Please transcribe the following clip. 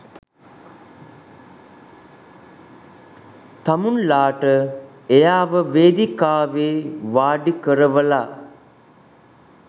තමුන්ලාට එයාව වේදිකාවේ වාඩිකරවලා